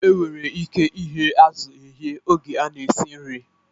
E nwere ike ighe azụ eghe oge a na-esi nri